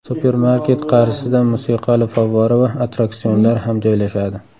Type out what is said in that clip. Supermarket qarshisida musiqali favvora va attraksionlar ham joylashadi.